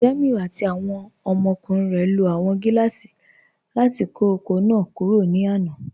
Jàmíù àti awọn ọmọkùnrin rẹ ló awọn gilaasì láti kọ oko náà kúrò ní àná.